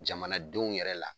Jamanadenw yɛrɛ la.